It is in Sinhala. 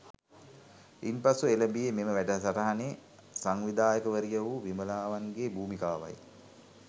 ඉන්පසුව එළඹියේ මෙම වැඩසටහනේ සංවිධායකවරිය වූ විමලාවන්ගේ භූමිකාවයි